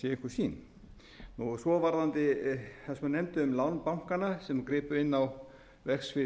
einhver sýn svo varðandi það sem hann nefndi um lán bankanna sem gripu inn á verksvið íbúðalánasjóðs fóru